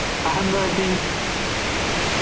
ആഹ് എന്തുപറ്റി